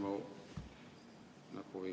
See on mu näpuviga.